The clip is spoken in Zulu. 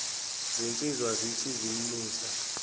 zinsizwa zithe zimusa